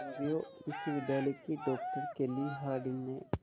Colombia विश्वविद्यालय की doctor Kelly Harding ने